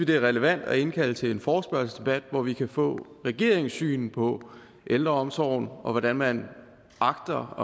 det er relevant at indkalde til en forespørgselsdebat hvor vi kan få regeringens syn på ældreomsorgen og hvordan man agter